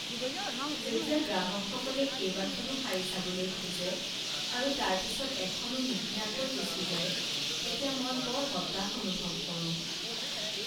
যেতিয়া গ্ৰাহকসকলে কেইবাখনো শাৰী চাবলৈ খোজে আৰু তাৰ পিছত এখনো নিকিনাকৈ গুচি যায় তেতিয়া মই বৰ হতাশ অনুভৱ কৰোঁ।